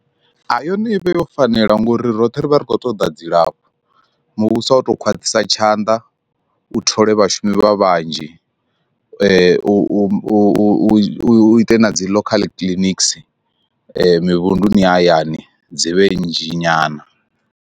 Yone i vha yo fanela ngori roṱhe ri vha ri khou ṱoḓa dzilafho, muvhuso a u to khwaṱhisa tshanḓa u thola vhashumi vha vhanzhi u u u u ite na dzi local clinics mivhunduni hayani dzi vhe nnzhi nyana.